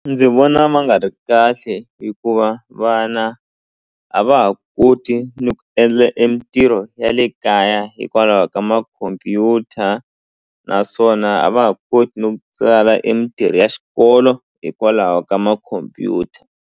Ndzi vona ma nga ri kahle hikuva vana a va ha koti ni ku endla e mitirho ya le kaya hikwalaho ka makhompyuta naswona a va ha koti no tsala e mintirho ya xikolo hikwalaho ka makhompyuta.